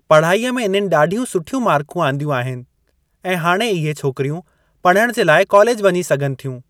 पढ़ाईअ में इन्हनि ॾाढियूं सुठियूं मार्कूं आदिंयू आहिनि ऐं हाणे इहे छोकिरियूं पढ़णु जे लाइ कॉलेजु वञी सघनि थियूं।